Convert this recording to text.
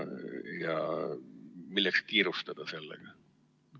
Milleks sellega kiirustada?